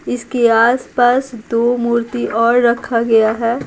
इसके आसपास दो मूर्ति और रखा गया है।